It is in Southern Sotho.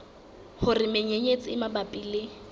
hore menyenyetsi e mabapi le